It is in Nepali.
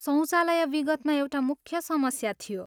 शौचालय विगतमा एउटा मुख्य समस्या थियो।